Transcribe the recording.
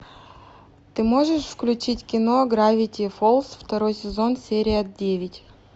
ты можешь включить кино гравити фолз второй сезон серия девять